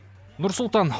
нұр сұлтан